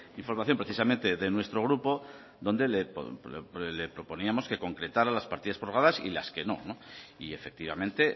información precisamente de nuestro grupo donde le proponíamos que concretara las partidas prorrogadas y las que no y efectivamente